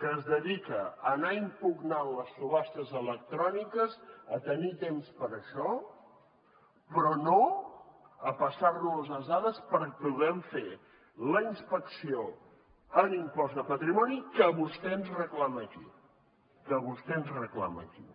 que es dedica a anar impugnant les subhastes electròniques a tenir temps per a això però no a passar nos les dades perquè puguem fer la inspecció en impost de patrimoni que vostè ens reclama aquí que vostè ens reclama aquí